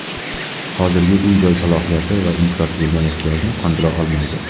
Hozirgi uy-joy salohiyati va infratuzilma ehtiyojni qondira olmaydi.